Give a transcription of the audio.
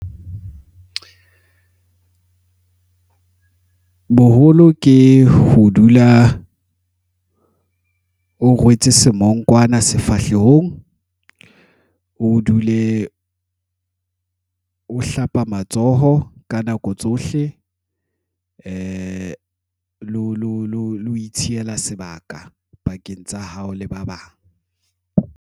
Boholo ke ho dula o rwetse semongkwana sefahlehong, o dule e ho hlapa matsoho ka nako tsohle lo itshehela sebaka pakeng tsa hao le ba bang.